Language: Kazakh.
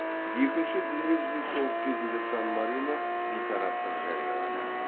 екінші дүниежүзілік соғыс кезінде сан марино бейтараптық жариялады